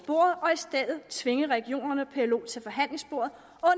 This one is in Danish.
af tvinge regionerne og plo til forhandlingsbordet